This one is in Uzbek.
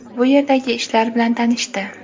bu yerdagi ishlar bilan tanishdi.